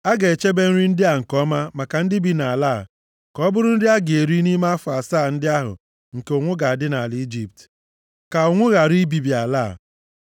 A ga-echebe nri ndị a nke ọma maka ndị bi nʼala a, ka ọ bụrụ nri a ga-eri nʼime afọ asaa ndị ahụ nke ụnwụ ga-adị nʼala Ijipt, ka ụnwụ ghara ibibi ala a.”